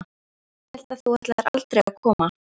Ég hélt þú ætlaðir aldrei að koma.